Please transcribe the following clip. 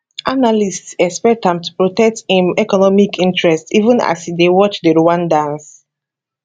analysts expect am to protect im economic interests even as e dey watch di rwandans